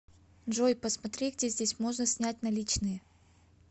джой посмотри где здесь можно снять наличные